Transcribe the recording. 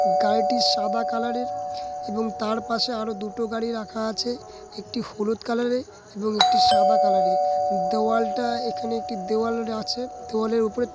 গাড়িটি সাদা কালার -এর এবং তার পাশে আরো দুটো গাড়ি রাখা আছে একটি হলুদ কালার -এর এবং একটি সাদা কালার দোওয়ালটা এখানে একটি দেওয়াল আছে দেওয়ালের উপর--